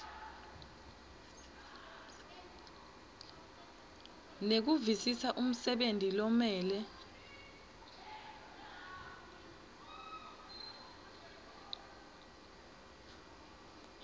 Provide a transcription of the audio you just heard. nekuvisisa umsebenti lomele